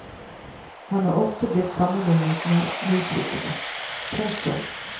Han er ofte blitt sammenlignet med musikere. punktum